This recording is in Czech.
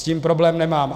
S tím problém nemám.